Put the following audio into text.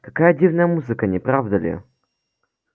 какая дивная музыка не правда ли